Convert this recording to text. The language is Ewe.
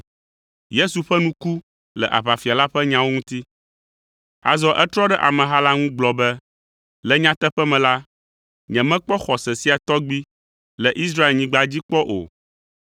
Yesu ƒe nu ku le aʋafia la ƒe nyawo ŋuti. Azɔ etrɔ ɖe ameha la ŋu gblɔ be, “Le nyateƒe me la, nyemekpɔ xɔse sia tɔgbi le Israelnyigba dzi kpɔ o.